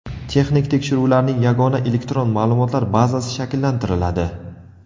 Texnik tekshiruvlarning yagona elektron ma’lumotlar bazasi shakllantiriladi.